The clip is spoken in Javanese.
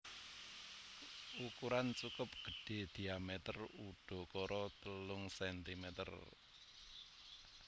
Ukuran cukup gedhé diameter udakara telung centimeter